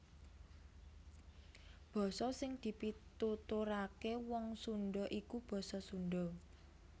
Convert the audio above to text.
Basa sing dipituturaké Wong Sundha iku basa Sundha